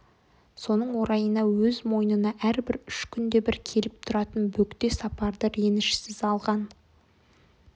соның орайына өз мойнына әрбір үш күнде бір келіп тұратын бөгде сапарды ренішсіз алған